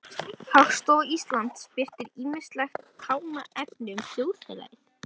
Hagstofa Íslands birtir ýmislegt talnaefni um þjóðfélagið.